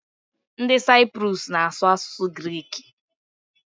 Nid Cyprus na asu asusu Greeki